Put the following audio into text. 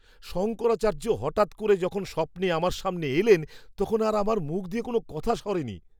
শঙ্করাচার্য হঠাৎ করে যখন স্বপ্নে আমার সামনে এলেন, তখন আর আমার মুখ দিয়ে কোনো কথা সরেনি!